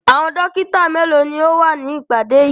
Àwọn dọ́kítá mélòó ni ó wà ní ìpàdé yìí?